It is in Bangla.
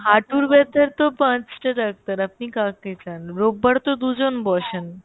হাঁটুর ব্যথার তো পাঁচটা ডাক্তার, আপনি কাকে চান? রোববারে তো দুজন বসেন